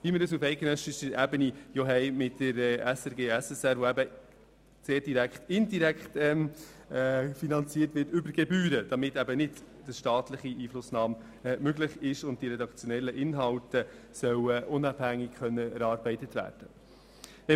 Auf eidgenössischer Ebene haben wir ja dieses System, in dem eben indirekt über Gebühren finanziert wird, damit keine staatliche Einflussnahme möglich ist und die redaktionellen Inhalte unabhängig erarbeitet werden können.